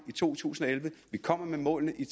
i to tusind og elleve vi kommer med målene i